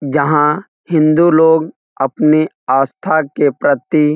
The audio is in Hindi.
यहाँ हिन्दू लोग अपने आस्था के प्रति --